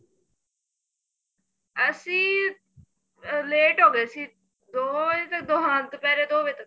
ਅਸੀਂ ਅਹ late ਹੋ ਗਏ ਸੀ ਦੋ ਵਜੇ ਤਾਂ ਹਾਂ ਦੁਪਹਿਰੇ ਦੋ ਵਜੇ ਤੱਕ